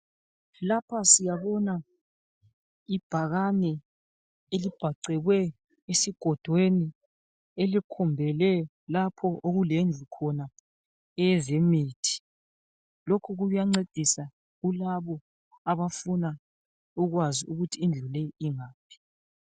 Lapha siyabona ibhakane elibhacekwe esigodweni elikhombele lapho okulendlu khona yezemithi. Lokhu kuyancedisa kulabo abafuna ukwazi ukuthi indlu leyi ingaphi.